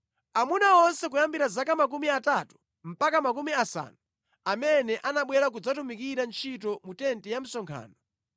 Amuna onse kuyambira zaka makumi atatu mpaka makumi asanu amene anabwera kudzatumikira ntchito mu tenti ya msonkhano,